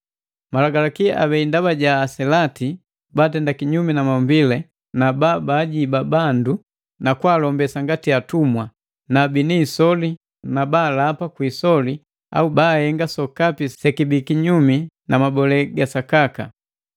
Malagalaki abei ndaba ja aselati batenda kinyumi na maumbile na babajiba bandu na kwaalombesa ngati atumwa, bini isoli na baalapa kwi isoli au bahenga sokapi sekibi kinyumi na mabolee ga sakaka.